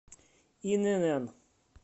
инн